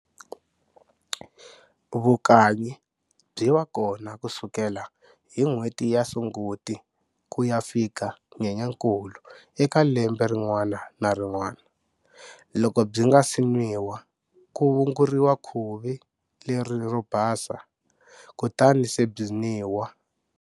Vukanyi byi va kona ku sukela hi n'hweti ya Sunguti ku ya fika Nyenyankulu eka lembe rin'wana na rin'wana. Loko byi nga si nwiwa, ku wunguriwa khuvi leri ro basa kutani se byi nwiwa.